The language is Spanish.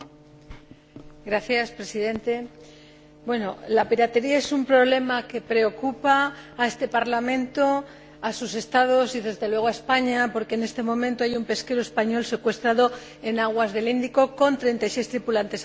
Señor Presidente, la piratería es un problema que preocupa a este Parlamento, a sus Estados y, desde luego, a España, porque en este momento hay un pesquero español secuestrado en aguas del Índico con 36 tripulantes a bordo.